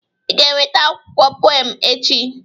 Ị ga-eweta akwụkwọ pụem m echi!